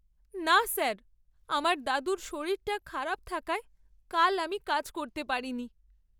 না স্যার, আমার দাদুর শরীরটা খারাপ থাকায় কাল আমি কাজ করতে পারিনি।